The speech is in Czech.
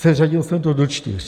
Seřadil jsem to do čtyř.